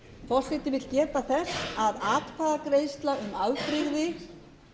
forseti vill geta þess að atkvæðagreiðsla um afbrigði